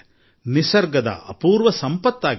ಇದು ಅಪಾರ ಸಂಪತ್ತು